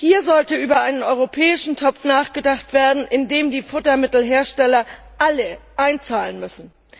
Hier sollte über einen europäischen Topf nachgedacht werden, in den die Futtermittelhersteller alle einzahlen müssen.